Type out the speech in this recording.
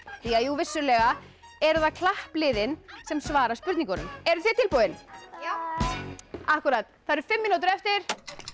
vissulega eru það klappliðin sem svara spurningunum eruð þið tilbúin já það eru fimm mínútur eftir